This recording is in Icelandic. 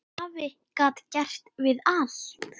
Afi gat gert við allt.